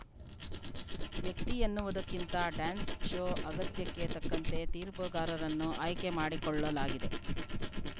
ವ್ಯಕ್ತಿ ಎನ್ನುವುದಕ್ಕಿಂತ dance show ಅಗತ್ಯಕ್ಕೆ ತಕ್ಕಂತೆ ತೀರ್ಪುಗಾರರನ್ನು ಆಯ್ಕೆ ಮಾಡಿಕೊಳ್ಳಲಾಗಿದೆ